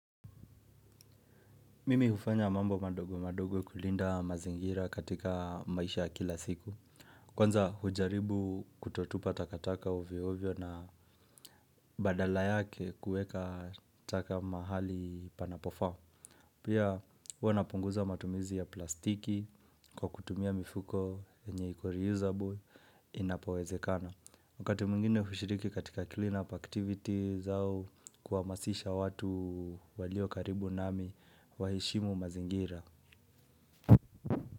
Mimi hufanya mambo madogo madogo kulinda mazingira katika maisha ya kila siku. Kwanza hujaribu kutotupa takataka ovyo ovyo na badala yake kueka taka mahali panapofaa. Pia huwa napunguza matumizi ya plastiki kwa kutumia mifuko enye iko reusable inapowezekana. Wakati mwingine hushiriki katika cleanup activity zao kuhamasisha watu walio karibu nami waheshimu mazingira.